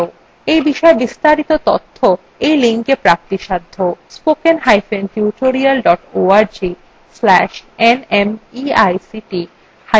এই বিষয় বিস্তারিত তথ্য এই লিঙ্কএ প্রাপ্তিসাধ্য